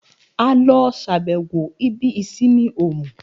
A lọ ṣàbẹ̀wọ̀ ibi ìsinmi Òmù